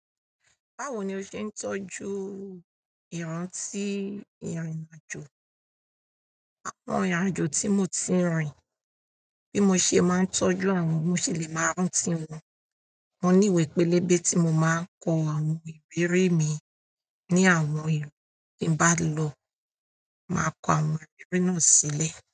Báwo ni o ṣe ń tọ́jú ìrántí ìrìn-àjò? Àwọn ìrìn-àjò tí mo ti rìn, bí mo ṣe máa ń tọ́jú àwọn, mo ṣì lè máa rántí wọn. Mo níwèé pélébé tí mo máa ń kọ àwọn ìrírí mi ní àwọn ìlú tí n bá lọ, màá kọ àwọn ìrírí náà sílẹ̀.